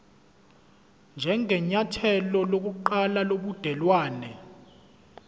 njengenyathelo lokuqala lobudelwane